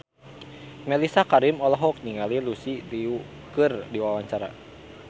Mellisa Karim olohok ningali Lucy Liu keur diwawancara